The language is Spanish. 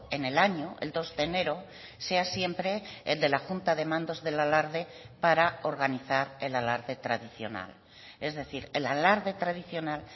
en el año el dos de enero sea siempre el de la junta de mandos del alarde para organizar el alarde tradicional es decir el alarde tradicional